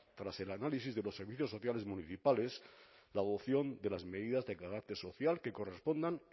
tras el análisis de los servicios sociales municipales la adopción de las medidas de carácter social que correspondan